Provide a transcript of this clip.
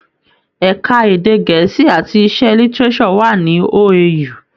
Ẹka èdè gẹ̀ẹ́sì àti iṣẹ́ Lítíréṣọ̀ wà ní OAU.